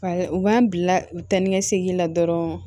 u b'an bila u ta ni ka segin la dɔrɔn